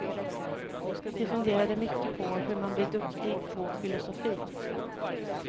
De funderade mycket på hur man blir duktig på filosofi.